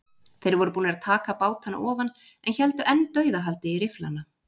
Þeir voru búnir að taka bátana ofan en héldu enn dauðahaldi í rifflana.